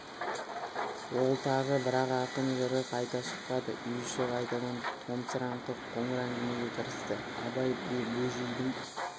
ол тағы бірақ ақын жыры қайта шықпады үй іші қайтадан томсарыңқы қоңыр әңгімеге кірісті абай бөжейдің